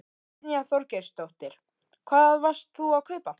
Brynja Þorgeirsdóttir: Hvað varst þú að kaupa?